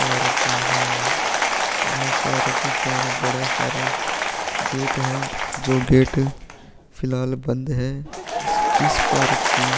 park है park का बड़ा सारा गेट है जो गेट फिलाह बंद है इस पार्क की--